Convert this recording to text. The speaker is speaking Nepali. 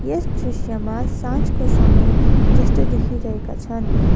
यस दृश्यमा साँझको समय जस्तो देखिरहेको छन।